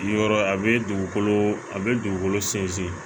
Yɔrɔ a bɛ dugukolo a bɛ dugukolo sinsin